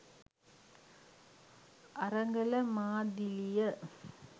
අරගල මාදිලිය